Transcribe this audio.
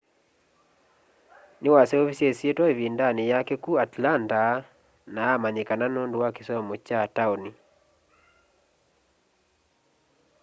niwaseuvisye isyitwa ivindani yake ku atlanta na amanyikana nundu wa kisomo kya taoni